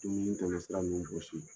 Dumuni tɛmɛ sira ninnu bɔsi.